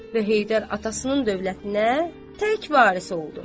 Və Heydər atasının dövlətinə tək varis oldu.